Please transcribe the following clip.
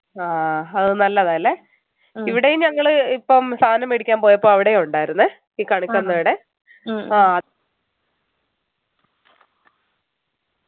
ആഹ് അത് നല്ലതാ അല്ലെ ഇവിടെയും ഞങ്ങള് ഇപ്പോം സദനം മേടിക്കാൻ പോയപ്പോ അവിടെ ഉണ്ടായിരുന്നെ ഈ ഈ കണിക്കൊന്നയുടെ ആഹ്